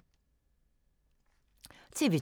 TV 2